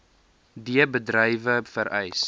d bedrywe vereis